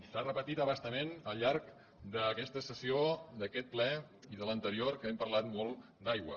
s’ha repetit a bastament al llarg d’aquesta sessió d’aquest ple i de l’anterior que hem parlat molt d’aigua